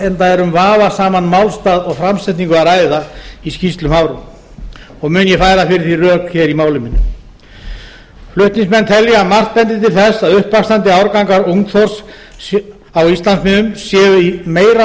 enda er um vafasaman málstað og framsetningu að ræða í skýrslum hafró og mun ég færa fyrir því rök hér í máli mínu flutningsmenn telja að margt bendi til þess að uppvaxandi árgangar ungþorsks séu á íslandsmiðum í meira